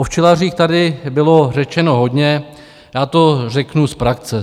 O včelařích tady bylo řečeno hodně, já to řeknu z praxe.